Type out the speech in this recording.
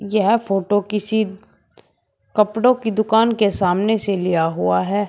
यह फोटो किसी कपड़ों की दुकान के सामने से लिया हुआ है।